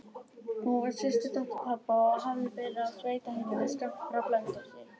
Hún var systurdóttir pabba og hafði verið á sveitaheimili skammt frá Blönduósi.